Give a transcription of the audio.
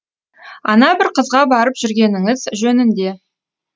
ана бір қызға барып жүргеніңіз жөнінде